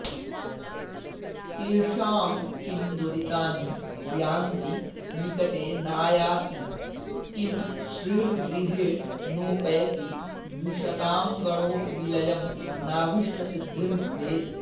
तेषां किं दुरितानि यान्ति निकटे नायाति किं श्रीर्गृहे नोपैति द्विषतां गणोऽपि विलयं नाऽभीष्टसिद्धिर्भवेत्